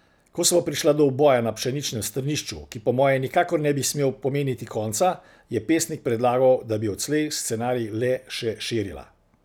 Ko sva prišla do uboja na pšeničnem strnišču, ki po moje nikakor ne bi smel pomeniti konca, je pesnik predlagal, da bi odslej scenarij le še širila.